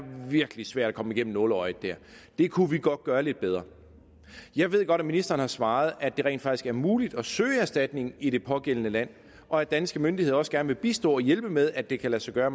virkelig svært at komme igennem nåleøjet der det kunne vi godt gøre lidt bedre jeg ved godt at ministeren har svaret at det rent faktisk er muligt at søge erstatning i det pågældende land og at danske myndigheder også gerne vil bistå og hjælpe med at det kan lade sig gøre